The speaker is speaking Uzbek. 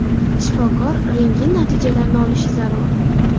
Shifokor rentgen natijalarini olishi zarur.